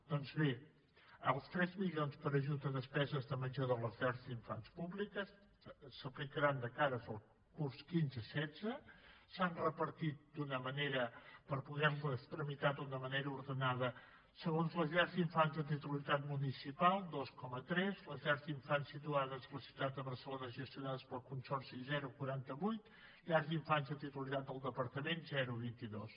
doncs bé els tres milions per a ajut a despeses de menjador de les llars d’infants públiques s’aplicaran de cara al curs quinze setze s’han repartit per poder les tramitar d’una manera ordenada segons les llars d’infants de titularitat municipal dos coma tres les llars d’infants situades a la ciutat de barcelona gestionades pel consorci zero coma quaranta vuit llars d’infants de titularitat del departament zero coma vint dos